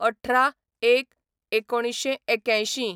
१८/०१/१९८१